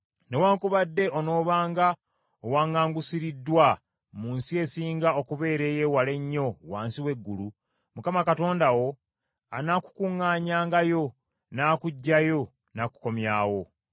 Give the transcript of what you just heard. Newaakubadde onoobanga owaŋŋangusiriddwa mu nsi esinga okubeera ey’ewala ennyo wansi w’eggulu, Mukama Katonda wo anaakukuŋŋaanyangayo, n’akuggyayo n’akukomyawo.